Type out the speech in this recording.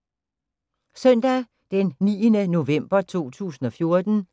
Søndag d. 9. november 2014